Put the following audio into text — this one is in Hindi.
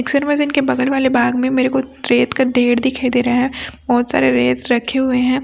मिक्सर मशीन के बगल वाले बाग में मेरे को रेत का ढेर दिखाई दे रहा है बहोत सारे रेत रखे हुए है।